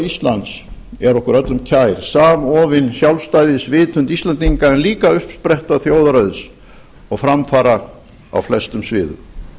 íslands er okkur öllum kær samofin sjálfstæðisvitund íslendinga uppspretta þjóðarauðs og framfara á flestum sviðum